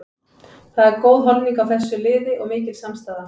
Það er góð holning á þessu liði og mikil samstaða.